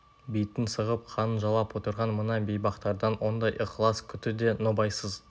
битін сығып қанын жалап отырған мына бейбақтардан ондай ықылас күту де нобайсыз